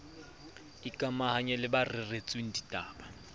ikamahanya le ba reretsweng ditaba